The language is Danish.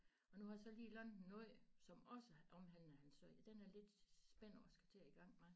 Og nu har jeg så lige lånt en ny som også omhandler ham selv den er jeg lidt spændt over at skulle i gang med